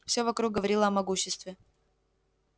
всё вокруг говорило о могуществе